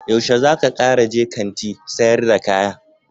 Yaushe zaka Kara je Kant sayar da kaya?